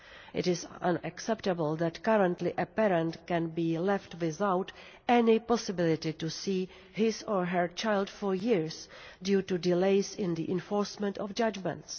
It is unacceptable that currently a parent can be left without any possibility to see his or her child for years due to delays in the enforcement of judgments.